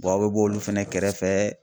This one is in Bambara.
a bɛ b'olu fɛnɛ kɛrɛfɛ.